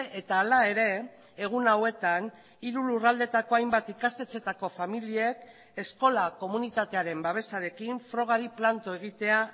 eta hala ere egun hauetan hiru lurraldetako hainbat ikastetxeetako familiek eskola komunitatearen babesarekin frogari planto egitea